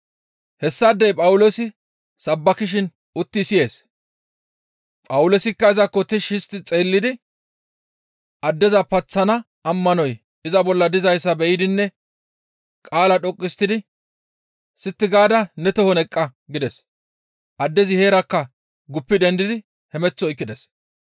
Hessaadey Phawuloosi sabbakishin utti siyees; Phawuloosikka izakko tishshi histti xeellidi addeza paththana ammanoy iza bolla dizayssa be7idinne qaala dhoqqu histtidi, «Sitti gaada ne tohon eqqa!» gides. Addezi heerakka guppi dendidi hemeth oykkides.